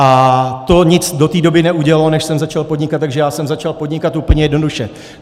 A to nic do té doby neudělalo, než jsem začal podnikat, takže já jsem začal podnikat úplně jednoduše.